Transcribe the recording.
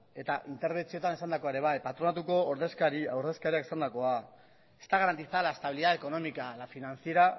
eta interbentzioetan esandakoa ere bai patronatuko ordezkariak esandakoa está garantizada la estabilidad económica la financiera